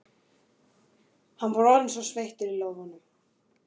Hann var orðinn sveittur í lófunum.